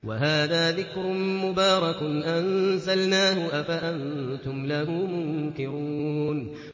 وَهَٰذَا ذِكْرٌ مُّبَارَكٌ أَنزَلْنَاهُ ۚ أَفَأَنتُمْ لَهُ مُنكِرُونَ